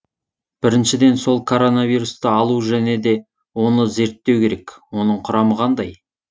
біріншіден сол коронавирусты алу және де оны зерттеу керек оның құрамы қандай